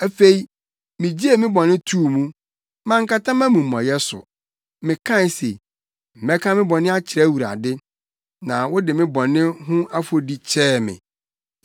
Afei, migyee me bɔne too mu. Mankata mʼamumɔyɛ so. Mekae se, “Mɛka me bɔne akyerɛ Awurade,” na wode me bɔne ho afɔdi kyɛɛ me.